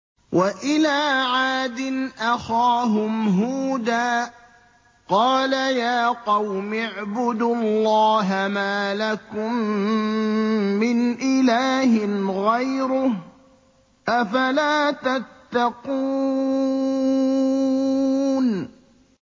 ۞ وَإِلَىٰ عَادٍ أَخَاهُمْ هُودًا ۗ قَالَ يَا قَوْمِ اعْبُدُوا اللَّهَ مَا لَكُم مِّنْ إِلَٰهٍ غَيْرُهُ ۚ أَفَلَا تَتَّقُونَ